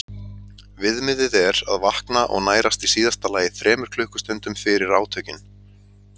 Viðmiðið er að vakna og nærast í síðasta lagi þremur klukkustundum fyrir átökin.